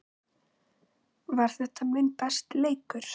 Var þetta minn besti leikur?